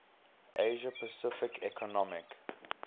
asia pacific economic